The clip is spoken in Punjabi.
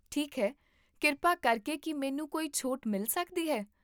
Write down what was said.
ਠੀਕ ਹੈ, ਕਿਰਪਾ ਕਰਕੇ ਕੀ ਮੈਨੂੰ ਕੋਈ ਛੋਟ ਮਿਲ ਸਕਦੀ ਹੈ?